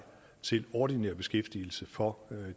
til ordinær beskæftigelse for